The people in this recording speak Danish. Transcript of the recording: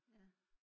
ja